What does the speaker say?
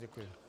Děkuji.